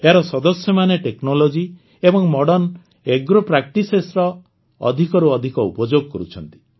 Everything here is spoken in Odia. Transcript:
ଏହାର ସଦସ୍ୟମାନେ ପ୍ରଯୁକ୍ତି ଏବଂ ମଡର୍ନ Agropracticesର ଅଧିକରୁ ଅଧିକ ଉପଯୋଗ କରୁଛନ୍ତି